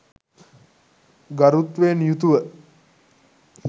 ගරුත්වයෙන් යුතුව